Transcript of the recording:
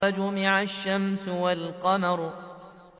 وَجُمِعَ الشَّمْسُ وَالْقَمَرُ